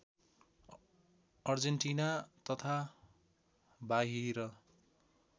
Argentina तथा बाहिर